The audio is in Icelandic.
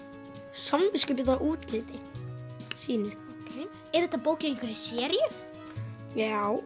samviskubit yfir útliti sínu er þetta bók í einhverri seríu já